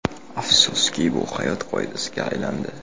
Afsuski, bu hayot qoidasiga aylandi.